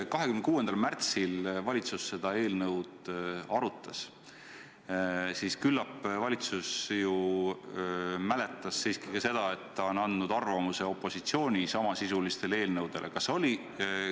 Kui 26. märtsil valitsus seda eelnõu arutas, siis küllap valitsus ju mäletas siiski ka seda, et ta on andnud arvamuse opositsiooni samasisuliste eelnõude kohta.